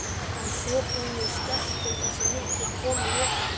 Að svo búnu skellti þessi mikla kona lokunni.